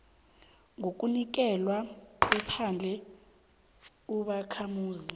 ngokunikelwa kwephandle ubakhamuzi